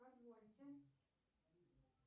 позвольте